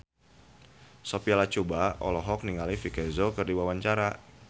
Sophia Latjuba olohok ningali Vicki Zao keur diwawancara